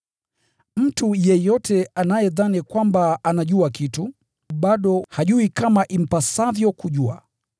Mtu yeyote anayedhani kwamba anajua kitu, bado hajui kama impasavyo kujua.